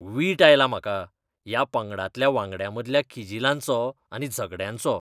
वीट आयला म्हाका ह्या पंगडांतल्या वांगड्यांमदल्या किजिलांचो आनी झगडयांचो.